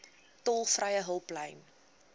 tolvrye hulplyn